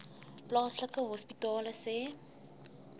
plaaslike hospitale sê